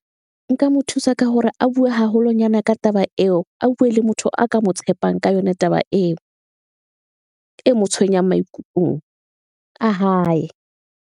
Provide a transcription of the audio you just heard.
Nka mo thusa ka hore a bue haholonyana ka taba eo, a bue le motho a ka mo tshepang ka yona, taba eo e mo tshwenyang maikutlong a hae.